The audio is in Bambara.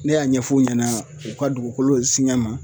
Ne y'a ɲɛf'u ɲɛna u ka dugukolo singan n ma